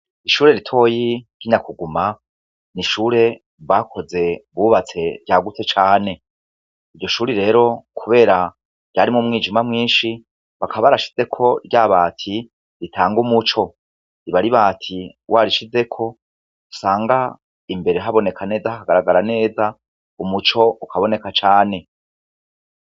Ishure ritoyi ry'inyakuguma n'ishure bakoze bubatse ryagutse cane. Iryoshure rero kubera ryari m'umwijima mwinshi bakaba barashizeko ryabati ritanga umuco. Riba ar'ibati warishizeko usanga imbere haboneka neza hakagaragara neza umuco ukaboneka cane.